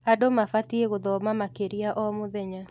Andũ mabatiĩ gũthoma makĩria o mũthenya.